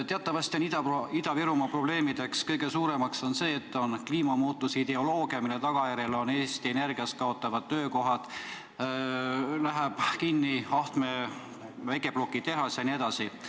Teatavasti on Ida-Virumaa kõige suuremaks probleemiks see, et kliimamuutuse ideoloogia tagajärjel kaovad Eesti Energias töökohad, läheb kinni Ahtme väikeplokitehas jne.